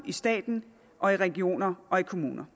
i staten regionerne og kommunerne